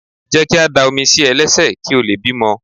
Jẹ́ ká dá omi sí ẹ lẹ́sẹ̀ kí o lè bímọ.